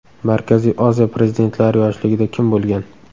Markaziy Osiyo prezidentlari yoshligida kim bo‘lgan?